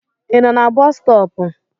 I nọ na boosu stop?